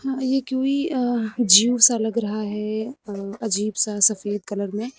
ये कुवि अ जू सा लग रहा है अ अजीब सा सफेद कलर में।